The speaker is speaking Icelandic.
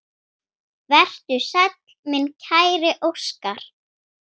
Vertu sæll, minn kæri Óskar.